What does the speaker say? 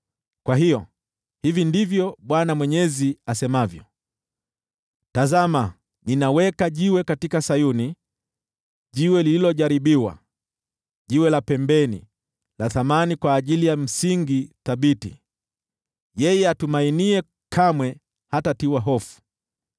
Kwa hiyo hivi ndivyo Bwana Mwenyezi asemavyo: “Tazama, ninaweka jiwe katika Sayuni, jiwe lililojaribiwa, jiwe la pembeni la thamani kwa ajili ya msingi thabiti. Yeye atumainiye kamwe hatatiwa hofu.